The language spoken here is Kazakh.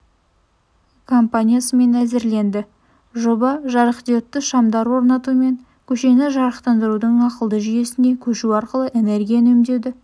компаниясымен әзірленді жоба жарықдиодты шамдар орнату мен көшені жарықтандырудың ақылды жүйесіне көшу арқылы энергия үнемдеуді